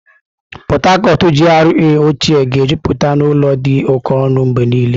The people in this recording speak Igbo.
Port Harcourt GRA ochịẹ́ ga-ejupụta n'ụlọ dị oke ọnụ mgbe niile.